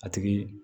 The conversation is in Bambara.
A tigi